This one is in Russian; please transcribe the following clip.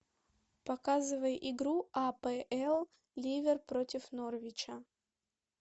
показывай игру апл ливер против норвича